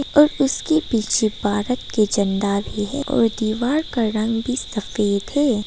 और उसके पीछे भारत के झंडा भी है और दीवार का रंग भी सफेद है।